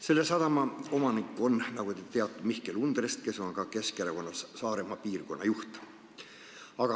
Selle sadama omanik on, nagu te teate, Mihkel Undrest, kes on ka Keskerakonna Saaremaa piirkonna juht.